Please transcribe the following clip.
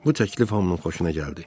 Bu təklif hamının xoşuna gəldi.